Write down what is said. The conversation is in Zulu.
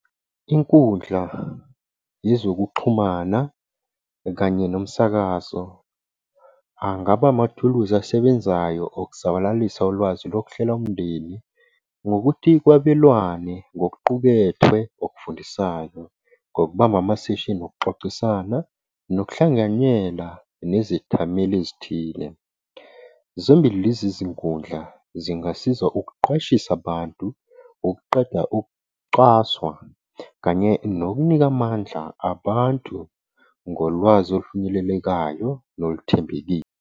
Inkundla yezokuxhumana kanye nomsakazo, angaba amathuluzi asebenzayo okusabalalisa ulwazi lokuhlela umndeni, ngokuthi kwabelwane ngokuqukethwe okufundisayo ngokubamba amaseshini okuxoxisana, nokuhlanganyela nezithameli ezithile. Zombili lezi zinkundla zingasiza ukuqwashisa abantu, ukuqeda ukucwaswa, kanye nokunika amandla abantu ngolwazi olufinyelelekayo noluthembekile.